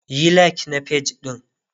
Yi like na page ɗin!.